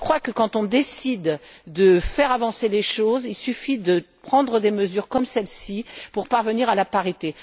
Je crois donc que lorsque l'on décide de faire avancer les choses, il suffit de prendre des mesures comme celles ci pour parvenir à la parité.